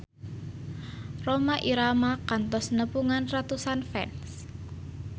Rhoma Irama kantos nepungan ratusan fans